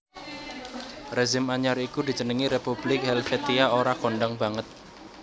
Rezim anyar iku dijenengi Republik Helvetia ora kondhang banget